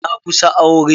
Na kusa aure.